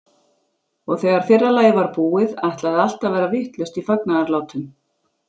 Og þegar fyrra lagið var búið, ætlaði allt að verða vitlaust í fagnaðarlátum.